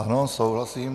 Ano, souhlasím.